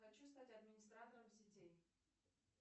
хочу стать администратором сетей